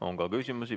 On ka küsimusi.